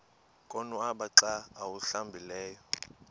konwaba xa awuhlambileyo